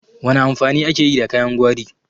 Wana amfani ake yi da kayan gwari?